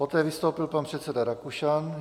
Poté vystoupil pan předseda Rakušan.